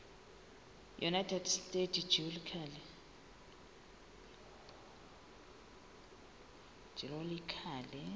united states geological